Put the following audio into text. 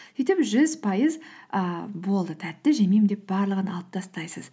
сөйтіп жүз пайыз ііі болды тәтті жемеймін деп барлығын алып тастайсыз